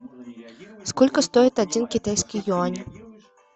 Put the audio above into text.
сколько стоит один китайский юань